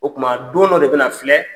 O tuma don dɔ de bɛna filɛ